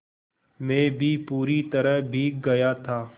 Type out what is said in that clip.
मैं भी पूरी तरह भीग गया था